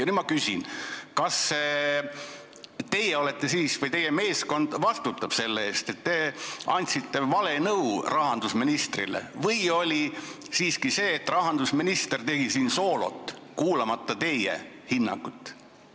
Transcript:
Nüüd ma küsin: kas teie ja teie meeskond vastutate siis selle eest, et te andsite rahandusministrile vale nõu, või oli siiski nii, et rahandusminister tegi soolot, kuulamata teie hinnangut?